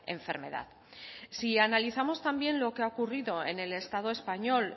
enfermedad si analizamos también lo que ha ocurrido en el estado español